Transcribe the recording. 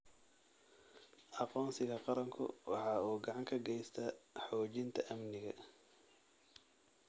Aqoonsiga qaranku waxa uu gacan ka geystaa xoojinta amniga.